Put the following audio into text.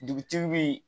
Dugutigi bi